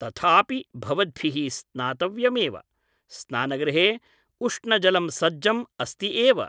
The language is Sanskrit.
तथापि भवद्भिः स्नातव्यमेव । स्नानगृहे उष्णजलं सज्जम् अस्ति एव ।